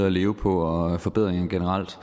at leve på og forbedringer generelt